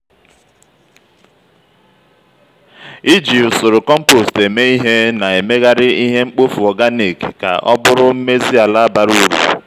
iji usoro compost eme ihe na-emegharị ihe mkpofu organic ka ọ bụrụ mmezi ala bara uru.